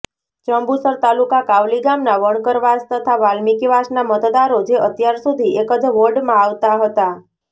જંબુસર તાલુકા કાવલી ગામના વણકરવાસ તથા વાલ્મીકીવાસના મતદારો જે અત્યાર સુધી એકજ વોર્ડમાં આવતા હતા